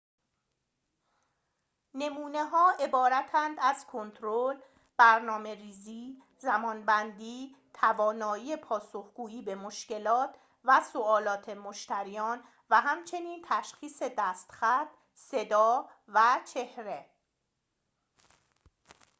نمونه‌ها عبارتند از کنترل برنامه‌ریزی زمان‌بندی توانایی پاسخ‌گویی به مشکلات و سؤالات مشتریان و همچنین تشخیص دست‌خط صدا و چهره